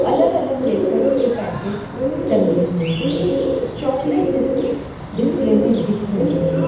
अलग अलग वेफर्स के पेकेट टंगे हुए हैं चॉकलेट बिस्किट डिस्प्ले मे दिख रहे हैं।